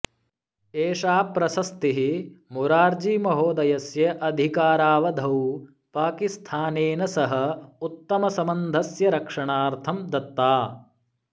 एषा प्रशस्तिः मोरार्जीमहोदयस्य अधिकारावधौ पाकिस्थानेन सह उत्तमसम्बन्धस्य रक्षणार्थं दत्ता